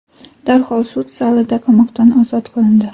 darhol sud zalida qamoqdan ozod qilindi.